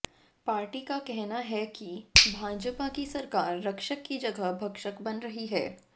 party का कहना है कि भाजपा की सरकार रक्षक की जगह भक्षक बन रही है